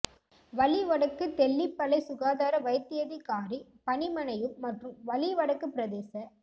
வலி வடக்கு தெல்லிப்பளை சுகாதார வைத்தியதிகாரி பணிமனையும் மற்றும் வலி வடக்கு பிரதேச